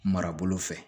Marabolo fɛ